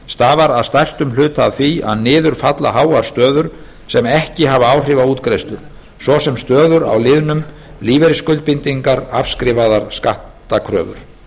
stafar að stærstum hluta af því að niður falla háar stöður sem ekki hafa áhrif á útgreiðslur svo sem stöður á liðunum lífeyrisskuldbindingar og afskrifaðar skattkröfur